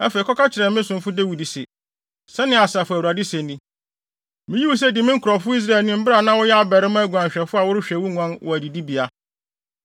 “Afei, kɔka kyerɛ me somfo Dawid se, ‘Sɛnea Asafo Awurade se ni: Miyii wo sɛ di me nkurɔfo Israelfo anim bere a na woyɛ abarimaa guanhwɛfo a worehwɛ wo nguan wɔ adidibea.